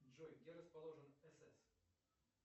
джой где расположен сс